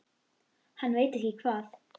Hann veit ekki hvað